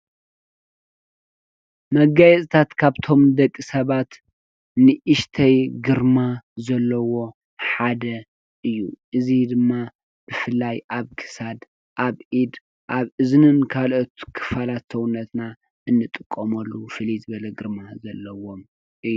መገየፅታት ካብቶም ንደቂ ሰባት ንእሽተይ ግርማ ዘለዎም ሓደ እዩ። እዚ ድማ ብፍላይ ኣብ ክሳድ፣ ኣብ ኢድ ፣ኣብ እዝንን ኣብ ካልኦት ክፋላት ሰውነትና እንጥቀመሎም ፍልይ ዝበለ ግርማ ሰውነትና እዩ።